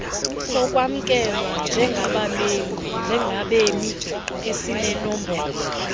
sokwamkelwa njengabemi esinenombolo